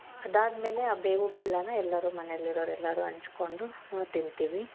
ಅದಾದಮೇಲೆ ಆ ಬೇವು ಬೆಲ್ಲನ ಎಲ್ಲಾರು ಮನೆಯಲ್ಲಿ ಇರೋರು ಎಲ್ಲಾರು ಹಂಚ್ಕೊಂಡು ಹೂ ತಿಂತೀವಿ.